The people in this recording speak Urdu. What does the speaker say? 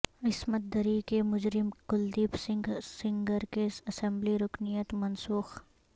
عصمت دری کے مجرم کلدیپ سنگھ سینگر کی اسمبلی رکنیت منسوخ